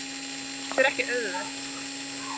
Það er ekki auðvelt.